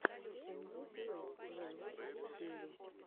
канье уэст вево в ютьюбе